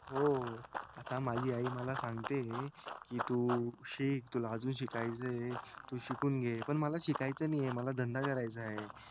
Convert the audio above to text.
हो आता मला माझी आई मला सांगतेय कीं तू शिक तुला अजून शिकायचे तू शिकून घे पण मला शिकायचे नाही हे मला धंधा करायचय